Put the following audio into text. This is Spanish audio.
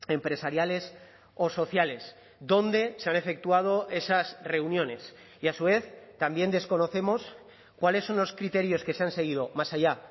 empresariales o sociales dónde se han efectuado esas reuniones y a su vez también desconocemos cuáles son los criterios que se han seguido más allá